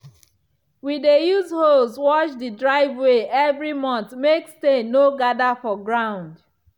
we dey use hose wash the driveway every month make stain no gather for ground.